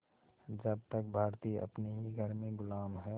जब तक भारतीय अपने ही घर में ग़ुलाम हैं